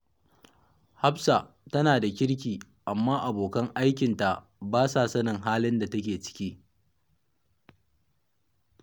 Hafsa tana da kirki, amma abokan aikinta ba sa sanin halin da take ciki